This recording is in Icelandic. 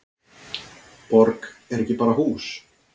Borg er ekki bara hús.